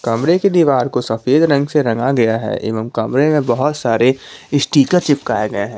कमरे की दीवार को सफेद रंग से रंगा गया है एवं कमरे में बहुत सारे स्टीकर चिपकाए गए हैं।